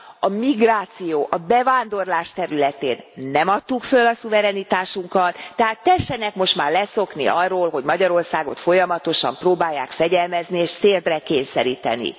A migráció, a bevándorlás területén nem adtuk föl a szuverenitásunkat, tehát tessenek most már leszokni arról, hogy Magyarországot folyamatosan próbálják fegyelmezni és térdre kényszeríteni.